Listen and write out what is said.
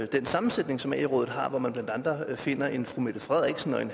den sammensætning som ae rådet har hvor man blandt andet finder en fru mette frederiksen og en